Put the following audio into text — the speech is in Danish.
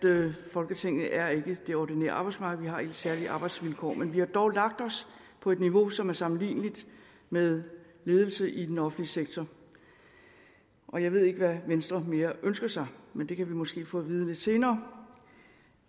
folketinget er ikke det ordinære arbejdsmarked vi har helt særlige arbejdsvilkår men vi har dog lagt os på et niveau som er sammenligneligt med ledelse i den offentlige sektor og jeg ved ikke hvad mere venstre ønsker sig men det kan vi måske få at vide lidt senere